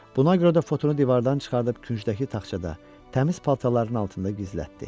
Buna görə də fotonu divardan çıxarıb küncdəki taxçada, təmiz paltarların altında gizlətdi.